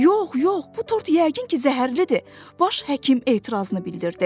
Yox, yox, bu tort yəqin ki, zəhərlidir, baş həkim etirazını bildirdi.